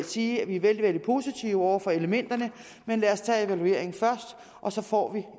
sige at vi er vældig vældig positive over for elementerne men lad os tage evalueringen først og så får vi